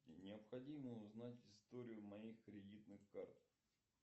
необходимо узнать историю моих кредитных карт